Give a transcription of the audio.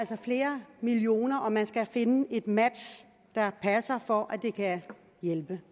flere millioner og man skal finde et match der passer for at det kan hjælpe